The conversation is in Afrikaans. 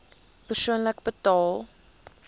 persoonlik betaal